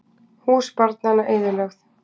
Hús barnanna eyðilögð